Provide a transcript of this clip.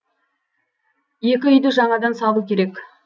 екі үйді жаңадан салу керек